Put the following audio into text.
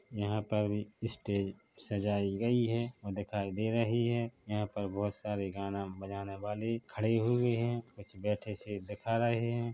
यहां पर अभी स्टेज सजाई गई है वो दिखाई दे रही है यहां पर बहुत सारे गाने बजाने वाले खड़े हुए हैकुछ बैठे से दिखाई दे रहे है।